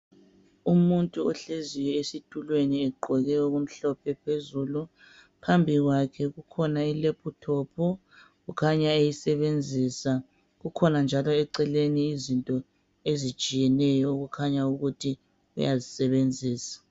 Umuntu ohleziyo esitulweni egqoke okumhlophe phezulu phambi kwakhe kukhona ilephuthophu okukhanya eyisebenzisa kukhona njalo eceleni izinto ezitshiyetshiyeneyo okukhanya ukuthi uyazisebenzisa.